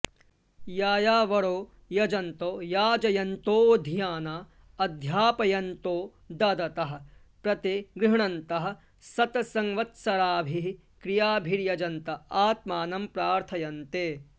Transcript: यायावरो यजन्तो याजयन्तोऽधीयाना अध्यापयन्तो ददतः प्रतिगृह्णन्तः शतसंवत्सराभिः क्रियाभिर्यजन्त आत्मानं प्रार्थयन्ते